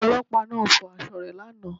Ọlọ́pàá náà fọ aṣọ rẹ̀ lánàá